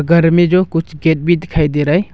गर में जो कुछ गेट भी दिखाई दे रहा है।